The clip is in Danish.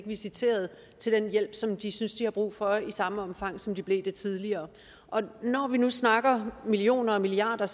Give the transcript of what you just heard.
visiteret til den hjælp som de synes de har brug for i samme omfang som de blev det tidligere og når vi nu snakker millioner og milliarder